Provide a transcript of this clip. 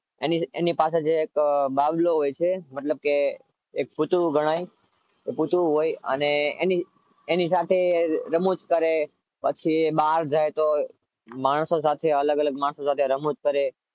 એની પાસે જે એક બાબલો હોય છે મતલબ કે એક પૂતળું ગણાય પૂતળું હોય અને એની સાથે એક રમૂજ કરે પછી એ બહાર જાય તો અલગ અલગ માણસો સાથે રમૂજ કરે